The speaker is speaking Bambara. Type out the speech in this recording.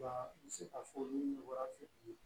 Wa n bɛ se k'a fɔ ni wara fitinin ye